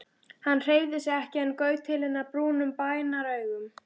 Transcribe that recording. Hann hreyfði sig ekki en gaut til hennar brúnum bænaraugum.